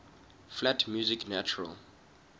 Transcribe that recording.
flat music natural